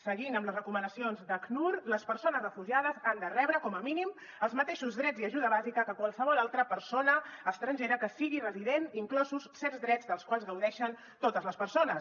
seguint amb les recomanacions d’acnur les persones refugiades han de rebre com a mínim els mateixos drets i ajuda bàsica que qualsevol altra persona estrangera que sigui resident inclosos certs drets dels quals gaudeixen totes les persones